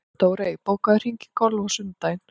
Dórey, bókaðu hring í golf á sunnudaginn.